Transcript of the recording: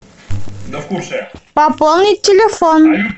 пополнить телефон